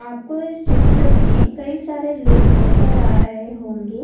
आपको इस चित्र में कई सारे लोग नजर आ रहे होंगे